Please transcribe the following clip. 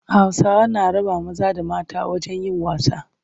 Hausawa na raba maza da mata wajen yin wasa.